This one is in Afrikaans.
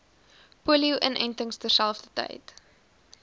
polio inentings terselfdertyd